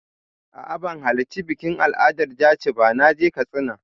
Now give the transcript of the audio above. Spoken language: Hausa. A'a, ban halarci bikin al'adar jaci ba da na je Katsina.